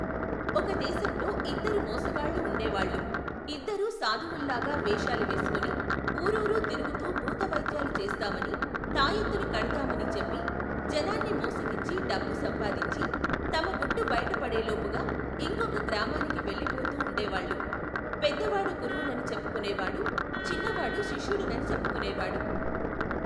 ఒక దేశంలో ఇద్దరు మోసగాళ్ళు ఉండే వాళ్ళు, ఇద్దరూ సాధువుల్లాగా వేషాలు వేసుకుని, ఊరూరూ తిరుగుతూ భూత వైద్యాలు చేస్తామనీ, తాయెత్తులు కడతామనీ చెప్పి, జనాన్ని మోసగించి డబ్బు సంపాదించి, తమ గుట్టు బయటపడేలోపుగా ఇంకొక గ్రామానికి వెళ్లిపోతుండే వాళ్లు, పెద్దవాడు గురువునని చెప్పుకునేవాడు చిన్న వాడు శిష్యుడినని చెప్పుకునేవాడు.